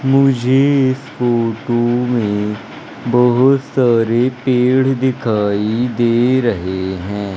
मुझे इस फोटो में बहुत सारे पेड़ दिखाई दे रहे हैं।